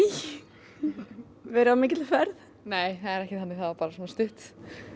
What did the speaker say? verið á mikilli ferð nei það er ekki þannig það var bara stutt